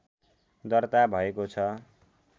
दर्ता भएको छ